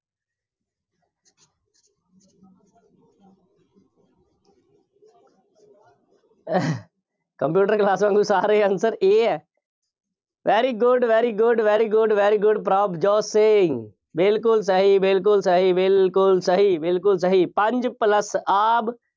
computer class ਅਨੁਸਾਰ ਇਹ answer A ਹੈ। very good, very good, very good, very good Prabhjot Singh, ਬਿਲਕੁੱਲ ਸਹੀ, ਬਿਲਕੁੱਲ ਸਹੀ, ਬਿਲਕੁੱਲ ਸਹੀ, ਬਿਲਕੁੱਲ ਸਹੀ। ਪੰਜ plus ਆਬ